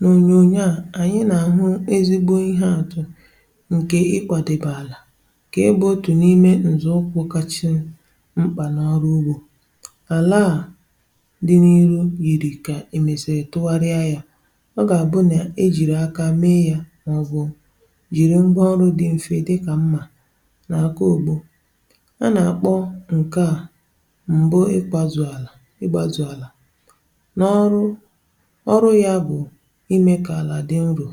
N’ònyònyo a, ànyị nà-àhụ ezigbo ihe àtụ ǹkè ịkwàdị̀pè àlà. Kà ị bụ̇ otù n’ime ǹzọ̀ ụkwụ̇ kàchì mkpà n’ọrụ ugbȯ. Àlà a dị n’ihu yiri kà èmesìrì tụgharịa yà; ọ gà-àbụ nà ejìrì akà mee yà, um n’ọbụ̀ jìrì mgbe ọrụ dị̇ mfe, dịkà mmȧ nà àkọ ògbo.A nà-àkpọ ǹkè a ikpazụ̀ àlà ikpazụ̀ àlà n’ọrụ ime kà àlà dị nro,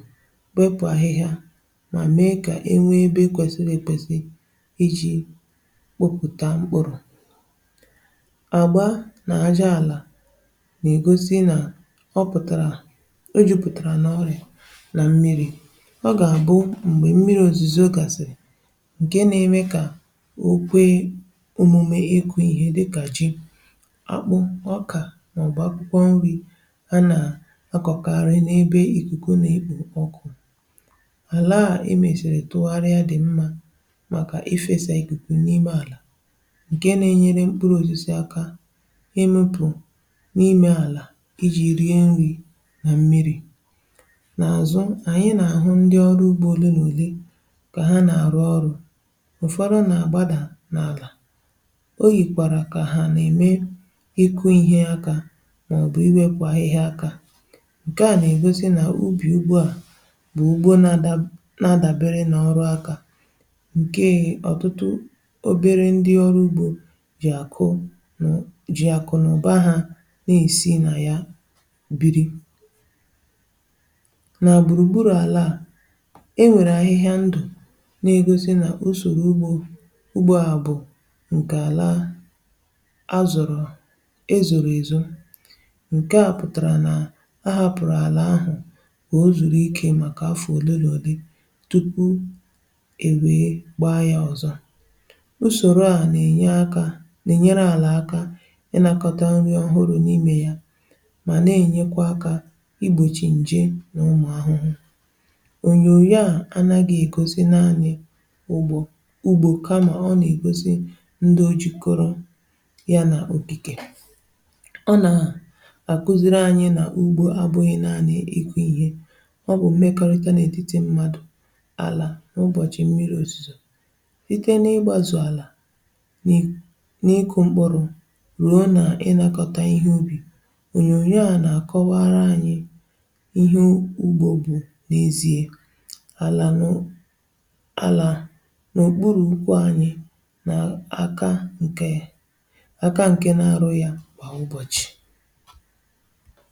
kpepù ahịhịa, um mà mee kà e nwee ebe ekwesiri ekwesi iji kpụpụta mkpụrụ. Àgba nà àjọ àlà nà-ègosi nà ọ pụ̀tàrà, o jupùtàrà nà ọrị̀ nà mmiri̇; ọ gà-àbụ m̀gbè mmiri̇ òzùzò. Ọ gàsị̀ ǹkè nà-eme kà okwe òmùmè ikù ihe dịkà ji, akpụ, ọkà, màọbụ̀ akwụkwọ nri̇.Àlà à i mesiri tụgharịa dị̀ mmȧ, um màkà ifesa ikuku n’ime àlà ǹkè nà-enyere mkpụrụ̇ osisi akà ịmụpụ̀ n’ime àlà iji̇ rie nri̇ nà mmiri̇. N’àzụ, ànyị nà-àhụ ndi ọrụ ugbȯ ole n’ùle, kà ha nà-àrụ ọrụ̇; ụ̀fọdụ nà-àgbadà n’àlà, o yìkwàrà kà ha nà-ème ịkụ̇ ihe akà, màọbụ̀ iwekwa ihe akà. Bụ̀ ugbò na-adabere nà ọrụ̀ akà, um ǹkè ọ̀tụtụ obere ndi ọrụ̀ ugbò jì àkụ, jì àkụ nà ụ̀ba hȧ na-èsi nà ya biri. Nà gburugburu àlà e nwèrè ahịhịa ndụ̀, n’egosi nà usòrò ugbo ugbò à bụ̀ ǹkè àlà a zọ̀rọ̀, e zòrò èzò, o zùrù ike màkà afù òlì lì òlì tupu ebe gbaa ya ọzọ.Usòrò a na-enye akà nà-enyere àlà akà, iji nakọta nri̇ ọhụrụ̇ n’imė ya, um mà na-enyekwa akà igbochi nje n’ụmụ̀ àhụhụ. Ònyò ya anàghị̇ ègosi nà anyị̀ ugbò ugbò, kamà ọ na-egosi ndị o jikọrọ ya nà òbìkè, ọ nà ọ bụ̀ mekọrịta n’ètitì mmadụ̀ n’àlà. N’ụbọ̀chị̀ mmiri̇ òzùzò, site n’ịgbàzụ̀ àlà, n’ịkụ̇ mkpụrụ̇ ruo nà ị nakọ̀ta ihe ubì, ònyònyò a na-akọwara ànyị ihe ugògbù n’ezie. Àlà nọ̀ n’òkpùrù ụkwụ̇ ànyị, um nà àka ǹkè, àka ǹkè nà-arụ, yà kpà ụbọ̀chị̀.